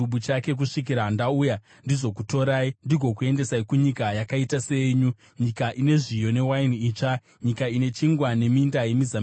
kusvikira ndauya ndizokutorai, ndigokuendesai kunyika yakaita seyenyu, nyika ine zviyo newaini itsva, nyika ine chingwa neminda yemizambiringa.